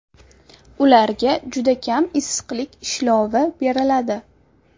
Ularga juda kam issiqlik ishlovi beriladi.